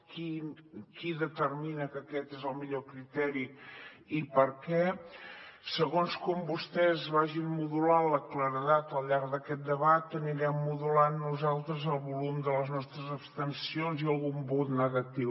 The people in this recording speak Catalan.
qui determina que aquest és el millor criteri i per què segons com vostès vagin modulant la claredat al llarg d’aquest debat anirem modulant nosaltres el volum de les nostres abstencions i algun vot negatiu